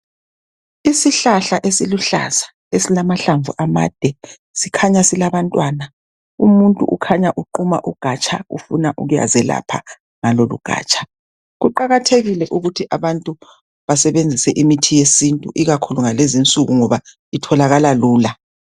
Isihlahla esiluhlaza esilamahlamvu amade kukhanya silabantwana umuntu ukhanya uquma ugatsha ufuna ukuyazelapha ngalolu ugatsha kuqakathekile ukuthi abantu basebenzise imithi yesintu ikakhulu ngalezo insuku ngoba itholakala lula.